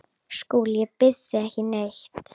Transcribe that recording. SKÚLI: Ég býð ekki neitt.